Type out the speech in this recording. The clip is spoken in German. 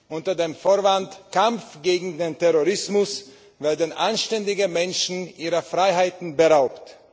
Unter dem Vorwand Kampf gegen den Terrorismus werden anständige Menschen ihrer Freiheiten beraubt.